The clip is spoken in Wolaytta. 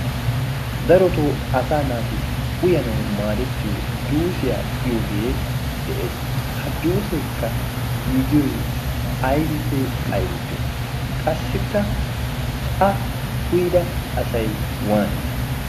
darotoo asa naati uyanau maadettiyo juusiyaa giyoogee de7ees. hajjuuseekka giigiyoi aibippe aibiippe? qassikka a uyida asai waani?